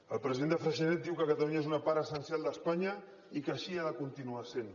el president de freixenet diu que catalunya és una part essencial d’espanya i que així ha de continuar sent